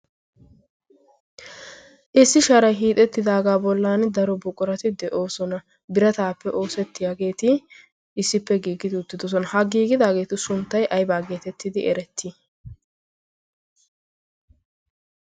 Issi shaarai hiixettidaagaa bollan daro buqurati de'oosona. Birataappe oosettiyaageeti issippe giigidi uttidosona. Ha giigidaageetu sunttay aybaa geetettidi erettii?